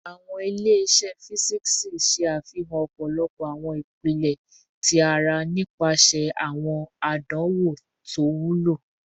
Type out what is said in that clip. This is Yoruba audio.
Awọn ile-iṣẹ fisiksi ṣe afihan ọpọlọpọ awọn ipilẹ ti ara nipasẹ awọn adanwo to wulo